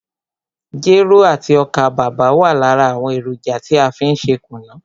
Jero àti ọ́kà bàbà wa lára àwọn èròjà tí a fí n ṣe kùnú.